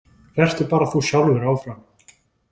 Vertu bara þú sjálfur áfram.